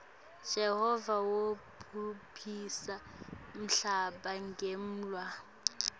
jehova wobhubhisa nmhlaba ngemuula